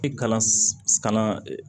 E kalan kalan